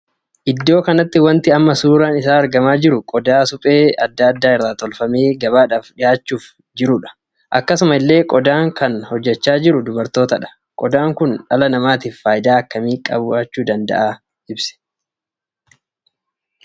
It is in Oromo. Iddoo kanatti wanti amma suuraan isaa argamaa jiru qodaa suphee addaa addaa irraa tolfamee gabaadhaaf dhihaachuuf jechuudha. akkasuma illee qodaa kan hojjechaa kan jiru dubartootadha. qodaan kun dhala namaatiif faayidaa akkamii qaba?